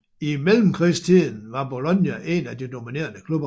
I mellemkrigstiden var Bologna en af de dominerende klubber